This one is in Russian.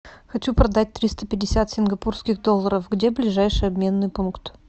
хочу продать триста пятьдесят сингапурских долларов где ближайший обменный пункт